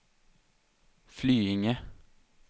Flyinge